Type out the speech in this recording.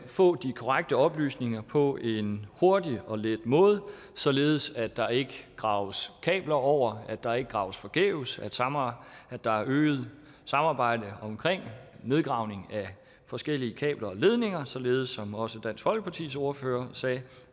få de korrekte oplysninger på en hurtig og let måde således at der ikke graves kabler over at der ikke graves forgæves at der er øget samarbejde om nedgravning af forskellige kabler og ledninger således som også dansk folkepartis ordfører sagde